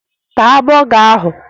Taa bọga ahụ!